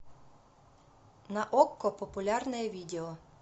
на окко популярное видео